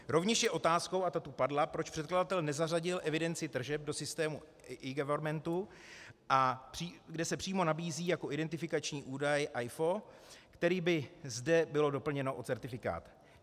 Rovněž je otázkou, a ta tu padla, proč předkladatel nezařadil evidenci tržeb do systému eGovernmentu, kde se přímo nabízí jako identifikační údaj AIFO, který by zde byl doplněn o certifikát.